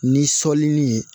Ni sɔli ni